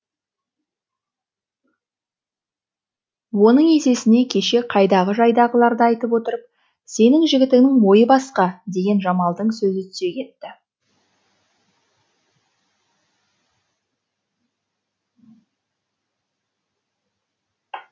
оның есесіне кеше қайдағы жайдағыларды айтып отырып сенің жігітіңнің ойы басқа деген жамалдың сөзі түсе кетті